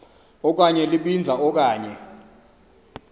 okanye libinza okanye